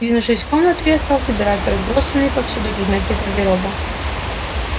двинувшись в комнату я стал собирать разбросанные повсюду предметы гардероба